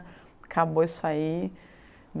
Acabou isso aí.